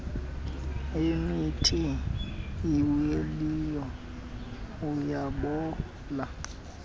emithi awileyo ayabola